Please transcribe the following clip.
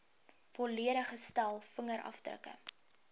volledige stel vingerafdrukke